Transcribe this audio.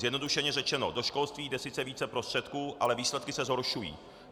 Zjednodušeně řečeno, do školství jde sice více prostředků, ale výsledky se zhoršují.